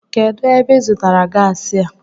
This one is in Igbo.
Kedụ ebe ịzụtara gaasi a?